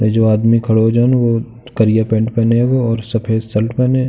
ये जो आदमी खड़ो जन वो करिया पेंट पहने हेगो और सफ़ेद शर्ट पहने।